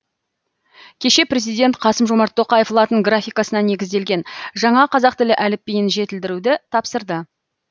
кеше президент қасым жомарт тоқаев латын графикасына негізделген жаңа қазақ тілі әліпбиін жетілдіруді тапсырды